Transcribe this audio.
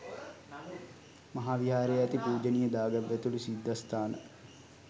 මහා විහාරයේ ඇති පූජනීය දාගැබ් ඇතුළු සිද්ධස්ථාන